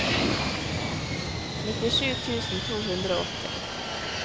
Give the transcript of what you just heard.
nittisju tusen to hundre og åtti